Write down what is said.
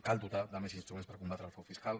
cal dotar de més instruments per combatre el frau fiscal